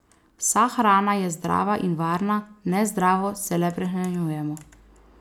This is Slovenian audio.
Vsa hrana je zdrava in varna, nezdravo se le prehranjujemo.